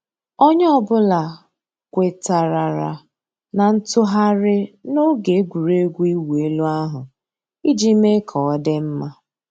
Ònyè ọ̀ bula kwètàrárà nà ntụ̀ghàrì n'ògè ègwurégwụ̀ ị̀wụ̀ èlù ahu íjì mée kà ọ̀ dị mma.